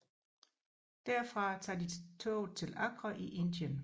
Derfra tager de toget til Agra i Indien